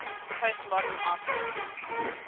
postmodern artists